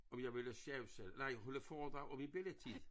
Om jeg ville sjawsa nej holde foredrag om min bellitid